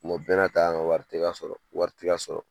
o bɛɛ n'a ta an ka wari tɛ ka sɔrɔ wari tɛ ka sɔrɔ